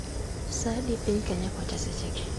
sa adi piny kenya kocha sechegi